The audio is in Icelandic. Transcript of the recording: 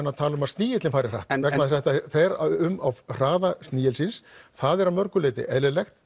að tala um að snigillinn fari hratt vegna þess að þetta fer um á hraða snigilsins það er að mörgu leyti eðlilegt